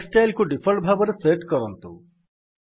next Styleକୁ default ଭାବରେ set କରନ୍ତୁ